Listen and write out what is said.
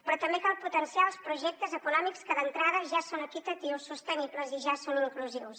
però també cal potenciar els projectes econòmics que d’entrada ja són equitatius sostenibles i ja són inclusius